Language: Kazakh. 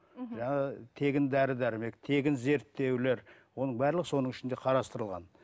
мхм яғни тегін дәрі дәрмек тегін зерттеулер оның барлығы соның ішінде қарастырылған